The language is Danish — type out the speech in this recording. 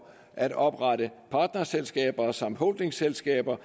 at oprette partnerselskaber samt holdingselskaber